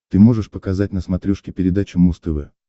ты можешь показать на смотрешке передачу муз тв